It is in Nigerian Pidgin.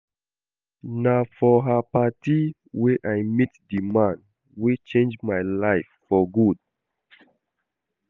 Na for her party wey I meet the man wey change my life for good